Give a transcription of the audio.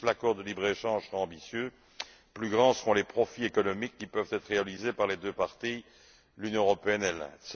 Plus l'accord de libre échange sera ambitieux, plus grands seront les profits économiques qui peuvent être réalisés par les deux parties, l'Union européenne et l'Inde.